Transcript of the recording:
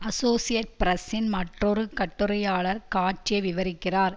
associate பிரஸ்ஸின் மற்றொரு கட்டுரையாளர் காட்சியை விவரிக்கிறார்